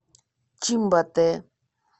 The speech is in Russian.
чимботе